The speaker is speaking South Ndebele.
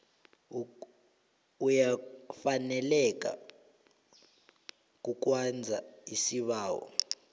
uyafaneleka kukwenza isibawo